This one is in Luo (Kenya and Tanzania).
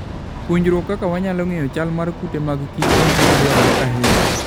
Puonjruok kaka wanyalo ng'eyo chal mar kute magkich en gima dwarore ahinya.